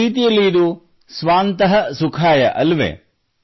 ಒಂದು ರೀತಿಯಲ್ಲಿ ಇದು ಸ್ವಾಂತಃ ಸುಖಾಯ ಅಲ್ಲವೇ